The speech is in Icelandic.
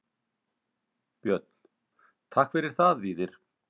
Björn: Takk fyrir það Víðir.